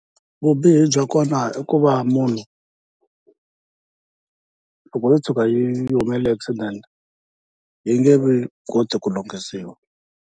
Vubihi bya kona i ku va munhu loko yo tshuka yi humelele hi accident yi nge koti ku lunghisiwa.